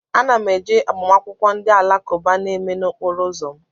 Ana m eje agbamakwụkwọ ndị alakụba a na-eme n'okporo ụzọ m